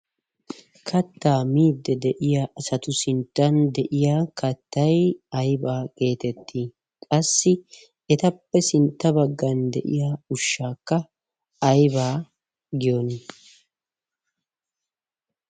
kattaa midde de7iya asatu sinttan de7iya kattai aibaa geetetti? qassi etappe sintta baggan de7iya ushshaakka aibaa giyoona?